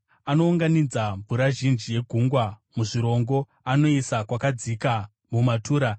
Anounganidza mvura zhinji yegungwa muzvirongo; anoisa kwakadzika mumatura.